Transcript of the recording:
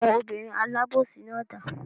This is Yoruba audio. Àwọn obìnrin alábòsí náà dà?